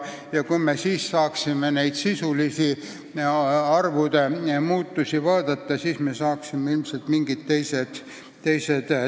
Kui me saaksime neid sisulisi arvude muutusi näha, siis saaksime ilmselt mingi teise pildi.